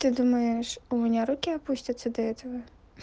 ты думаешь у меня руки опустятся до этого